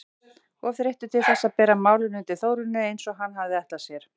Of þreyttur til þess að bera málin undir Þórunni eins og hann hafði ætlað sér.